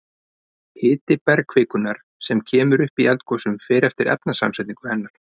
Hiti bergkvikunnar sem kemur upp í eldgosum fer eftir efnasamsetningu hennar.